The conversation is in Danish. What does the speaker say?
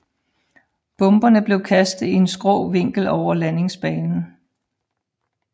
Bomberne blev kastet i en skrå vinkel over landingsbanen